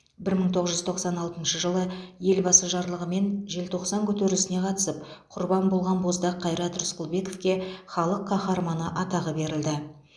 бір мың тоғыз жүз тоқсан алтыншы жылы елбасы жарлығымен желтоқсан көтерілісіне қатысып құрбан болған боздақ қайрат рысқұлбековке халық қаһарманы атағы берілді